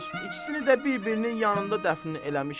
İkisini də bir-birinin yanında dəfn eləmişəm.